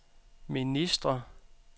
ministre